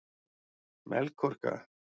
Melkorka